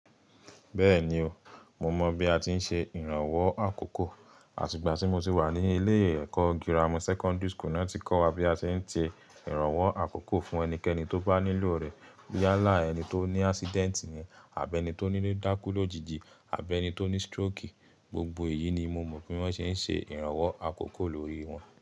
Bẹ́ẹ̀ni o, mo mọ̀ bí a ti ń ṣe ìrànwọ́ àkókò, àti ìgbà tí mo ti wà ní ilé ẹ̀kọ́ girama secondary school náà tí kọ́ wa bí a ti ń tẹ ìrànwọ́ àkókò fún ẹnikẹ́ni tó bá nílò rẹ̀. Ya lá ẹni tó ní accident ni, àbí ẹni tó ní dákú lójijì, àbí ẹni tó ní stroke. Gbogbo èyí ni mo mọ̀ pé wọ́n ṣe ń ṣe ìrànwọ́ àkókò lórí wọn.